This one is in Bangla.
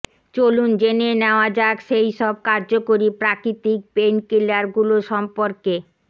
চলুন জেনে নেওয়া যাক সেই সব কার্যকরী প্রাকৃতিক পেইনকিলারগুলো সম্পর্কে